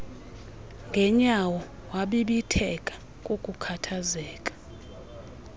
ngenyawo wabibitheka kukukhathazeka